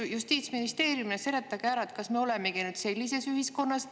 Teie justiitsministeeriumi seletage ära, kas me olemegi nüüd sellises ühiskonnas.